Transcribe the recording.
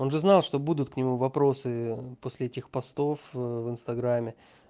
он же знал что будут к нему вопросы после этих постов в инстаграме